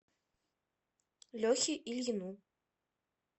лехе ильину